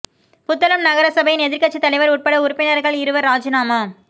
புத்தளம் நகர சபையின் எதிர்க்கட்சி தலைவர் உட்பட உறுப்பினர்கள் இருவர் இராஜினாமா